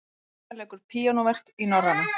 Tinna leikur píanóverk í Norræna